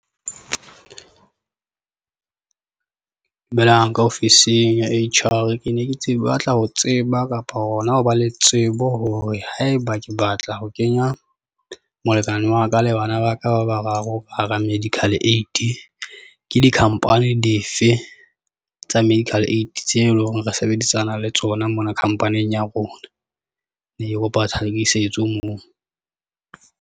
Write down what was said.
Dumelang ka ofising ya H_R, ke ne ke tsebe batla ho tseba kapa hona ho ba le tsebo hore haeba ke batla ho kenya molekane wa ka le bana ba ka ba bararo ba hara medical aid. Ke di-company dife tsa medical aid tse eleng hore re sebedisana le tsona mona khampaning ya rona, e ke kopa tlhakisetso moo?